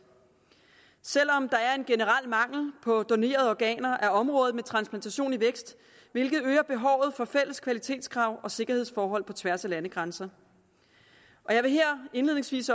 selv om der er en generel mangel på donerede organer er området med transplantation i vækst hvilket øger behovet for fælles kvalitetskrav og sikkerhedsforhold på tværs af landegrænser jeg vil her indledningsvis